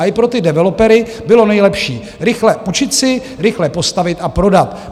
A i pro ty developery bylo nejlepší - rychle půjčit si, rychle postavit a prodat.